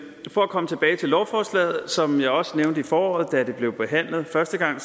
for at komme tilbage til lovforslaget som jeg også nævnte i foråret da det blev behandlet første gang